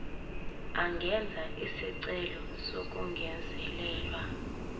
angenza isicelo sokungezelelwa